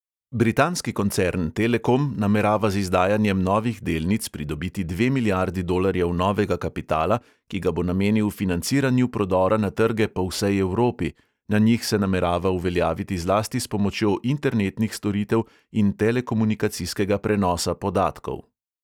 Britanski koncern telekom namerava z izdajanjem novih delnic pridobiti dve milijardi dolarjev novega kapitala, ki ga bo namenil financiranju prodora na trge po vsej evropi: na njih se namerava uveljaviti zlasti s pomočjo internetnih storitev in telekomunikacijskega prenosa podatkov.